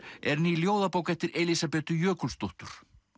er ný ljóðabók eftir Elísabetu Jökulsdóttur